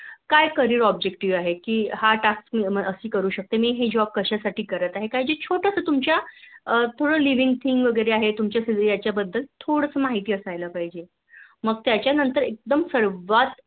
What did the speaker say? काय CArrier objective आहे कि हा Task मी करू शकते मी हि Job कशासाठी करत आहे काही जे छोटाश्या तू, च्या Living thing थोडासा माहिती असायला पाहिजे. मग त्याच्या मनात एकदम सर्वात